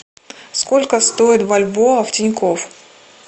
сколько стоит бальбоа в тинькофф